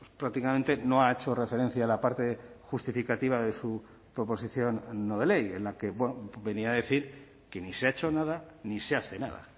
prácticamente no ha hecho referencia a la parte justificativa de su proposición no de ley en la que venía a decir que ni se ha hecho nada ni se hace nada